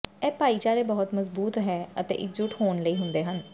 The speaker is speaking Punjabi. ਇਹ ਭਾਈਚਾਰੇ ਬਹੁਤ ਮਜ਼ਬੂਤ ਹੈ ਅਤੇ ਇਕਜੁੱਟ ਹੋਣ ਲਈ ਹੁੰਦੇ ਹਨ